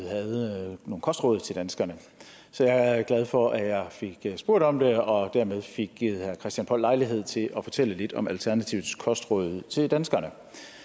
havde nogle kostråd til danskerne så jeg er glad for at jeg fik spurgt om det og dermed fik givet herre christian poll lejlighed til at fortælle lidt om alternativets kostråd til danskerne